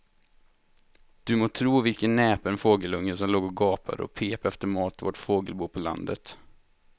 Du må tro vilken näpen fågelunge som låg och gapade och pep efter mat i vårt fågelbo på landet.